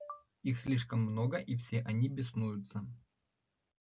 их слишком много и все они беснуются